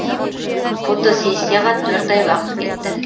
фотосессияға төрт ай уақыт кетті